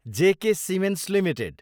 जे K Cements Ltd